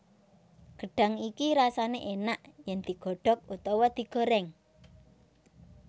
Gedhang iki rasane enak yen digodhog utawa digoreng